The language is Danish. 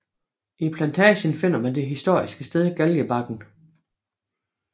I plantagen finder man det historiske sted Galgebakken